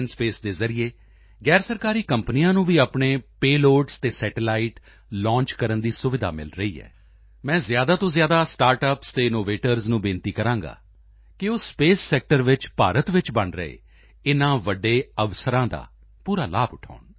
space ਦੇ ਜ਼ਰੀਏ ਗੈਰਸਰਕਾਰੀ ਕੰਪਨੀਆਂ ਨੂੰ ਵੀ ਆਪਣੇ ਪੇਲੋਡਸ ਅਤੇ ਸੈਟੇਲਾਈਟ ਲਾਂਚ ਕਰਨ ਦੀ ਸੁਵਿਧਾ ਮਿਲ ਰਹੀ ਹੈ ਮੈਂ ਜ਼ਿਆਦਾ ਤੋਂ ਜ਼ਿਆਦਾ ਸਟਾਰਟ ਅੱਪਸ ਅਤੇ 9nnovators ਨੂੰ ਬੇਨਤੀ ਕਰਾਂਗਾ ਕਿ ਉਹ ਸਪੇਸ ਸੈਕਟਰ ਵਿੱਚ ਭਾਰਤ ਚ ਬਣ ਰਹੇ ਇਨ੍ਹਾਂ ਵੱਡੇ ਅਵਸਰਾਂ ਦਾ ਪੂਰਾ ਲਾਭ ਉਠਾਉਣ